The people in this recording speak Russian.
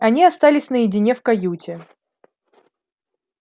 они остались наедине в каюте